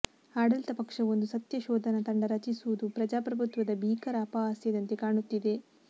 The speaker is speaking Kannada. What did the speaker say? ಆಡಳಿತ ಪಕ್ಷವೊಂದು ಸತ್ಯ ಶೋಧನಾ ತಂಡ ರಚಿಸುವುದು ಪ್ರಜಾಪ್ರಭುತ್ವದ ಭೀಕರ ಅಪಹಾಸ್ಯದಂತೆ ಕಾಣುತ್ತಿದೆ